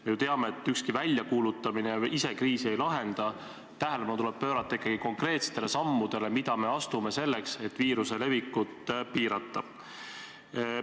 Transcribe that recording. Me ju teame, et ükski väljakuulutamine ise kriisi ei lahenda, tähelepanu tuleb pöörata ikkagi konkreetsetele sammudele, mida me astume selleks, et viiruse levikut piirata.